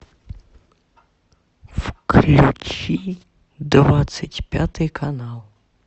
включи двадцать пятый канал